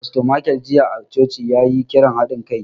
Fasto Michael jiya a coci, ya yi kiran haɗin kai.